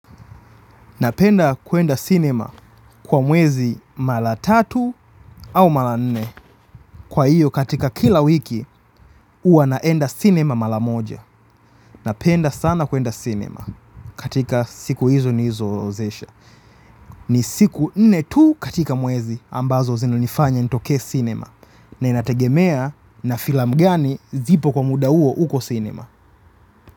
Napenda kuenda cinema kwa mwezi mara tatu au mara nne. Kwa hiyo katika kila wiki huwa naenda cinema mara moja. Napenda sana kuenda cinema katika siku hizo nilizoorodhesha. Ni siku nne tu katika mwezi ambazo zino nifanya nitokee cinema. Na inategemea na filamu gani zipo kwa muda huo uko cinema.